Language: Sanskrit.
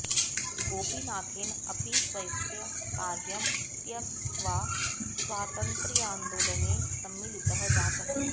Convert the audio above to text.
गोपीनाथेन अपि स्वस्य कार्यं त्यक्त्वा स्वातन्त्र्यान्दोलने सम्मिलितः जातः